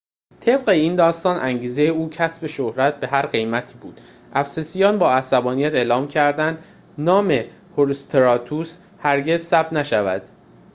طبق این داستان انگیزه او کسب شهرت به هر قیمتی بود افسسیان با عصبانیت اعلام کردند نام هروستراتوس هرگز ثبت نشود